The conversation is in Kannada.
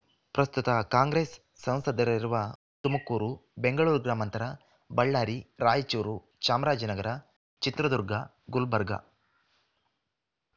ಪ್ರಸ್ತುತ ಕಾಂಗ್ರೆಸ್ ಸಂಸದರಿರುವ ತುಮುಕೂರು ಬೆಂಗಳೂರು ಗ್ರಾಮಾಂತರ ಬಳ್ಳಾರಿ ರಾಯಚೂರು ಚಾಮರಾಜನಗರ ಚಿತ್ರದುರ್ಗ ಗುಲ್ಬರ್ಗ